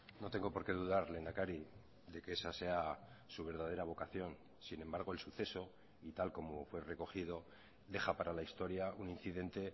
no tengo por qué dudar lehendakari de que esa sea su verdadera vocación sin embargo el suceso y tal como fue recogido deja para la historia un incidente